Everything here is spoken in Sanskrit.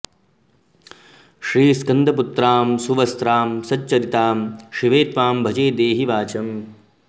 श्रीस्कन्दपुत्रां सुवस्त्रां सच्चरित्रां शिवे त्वां भजे देहि वाचम्